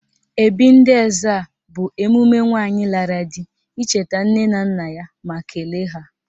Ebị́ị̀ ndị Ezza bụ emume nwaanyị lara di icheta nne na nna ya ma kelee ha.